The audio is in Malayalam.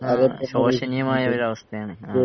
ശോശനീയമായ ഒരവസ്ഥയാണ് ആഹ്